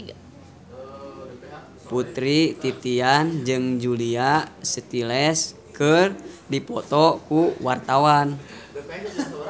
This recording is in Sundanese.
Putri Titian jeung Julia Stiles keur dipoto ku wartawan